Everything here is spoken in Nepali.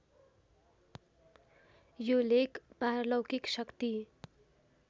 यो लेख पारलौकिक शक्ति